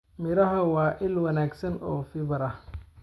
Miraha waa il wanaagsan oo fiber ah.